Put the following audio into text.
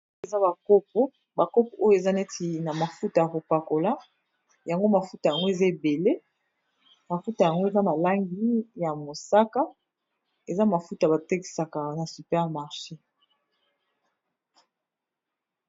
Eza ba kopo, ba kopo oyo eza neti na mafuta ya ko pakola, yango mafuta yango eza ébélé , mafuta yango na ba langi ya mosaka, eza mafuta ba tekisak'ango na super marché.